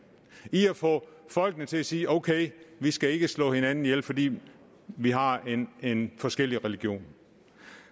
i at få folkene til at sige okay vi skal ikke slå hinanden ihjel fordi vi har en forskellig religion